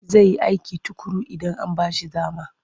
Zai yi aiki tuƙuru idan an ba shi dama.